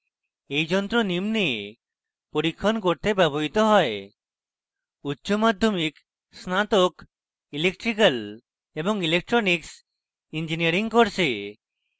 এই যন্ত্র নিম্নে পরীক্ষণ করতে ব্যবহৃত হয়